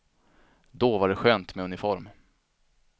Då var det skönt med uniform.